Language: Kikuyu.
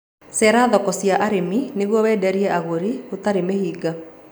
Cerera thoko cia arĩmi nĩguo wenderie agũri gũtari mĩhĩnga